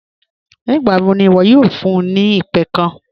Nígbàwọ́ ní iwo̩ yóò fún mi ni ìpẹ̀ kán?